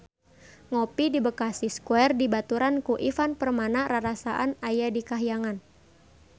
Ngopi di Bekasi Square dibaturan ku Ivan Permana rarasaan aya di kahyangan